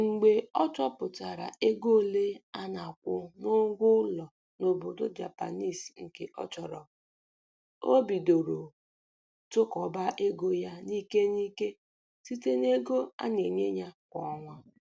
Mgbe ọ chọpụtachara ego ole a na-akwụ n'ụgwọ ụlọ n'obodo Japanese nke ọ chọrọ, o bidoro tụkọọba ego ya n'ike n'ike site n'ego a na-enye ya kwa ọnwa.